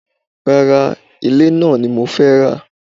Rárá, ilẹ̀ náà ni mo fẹ́ rà